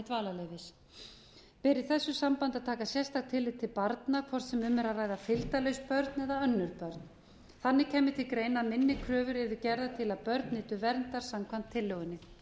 ber í þessu sambandi að taka sérstakt tillit til barna hvort sem um er að ræða fylgdarliðsbörn eða önnur börn þannig kemur til greina að minni kröfur eru gerðar a að börn nytu verndar samkvæmt tillögunni